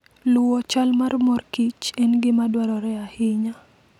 Luwo chal mar mor kich en gima dwarore ahinya.